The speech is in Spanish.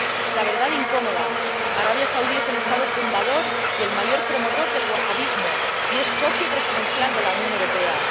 La verdad incómoda Arabia Saudí es el Estado fundador y el mayor promotor del wahabismo, y es socio preferencial de la Unión Europea.